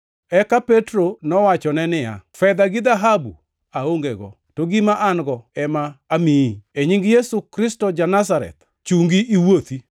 Eka Petro nowachone niya, “Fedha gi dhahabu aongego, to gima an-go ema amiyi. E nying Yesu Kristo ja-Nazareth, chungi iwuothi.”